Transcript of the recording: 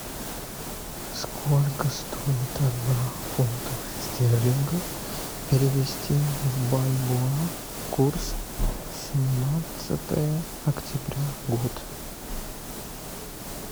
сколько стоит одна фунтов стерлингов перевести в бальбоа курс семнадцатое октября год